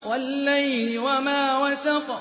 وَاللَّيْلِ وَمَا وَسَقَ